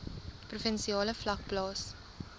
provinsiale vlak plaas